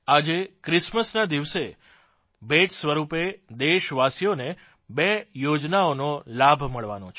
આજે ક્રિસમસના દિવસે ભેટ સ્વરૂપે દેશવાસીઓને બે યોજનાઓનો લાભ મળવાનો છે